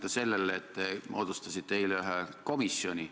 Kui öeldakse selliseid asju välja, tuleb ka vastutus võtta.